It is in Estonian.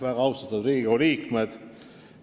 Väga austatud Riigikogu liikmed!